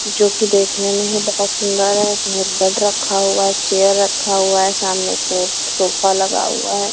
जो कि देखने में ही बहुत सुंदर है इसमें बेड रखा हुआ है चेयर रखा हुआ है सामने सोफा लगा हुआ है।